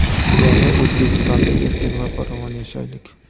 "Yangi O‘zbekistonda erkin va farovon yashaylik!".